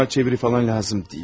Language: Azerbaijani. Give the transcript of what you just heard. Mənə çeviri falan lazım deyil.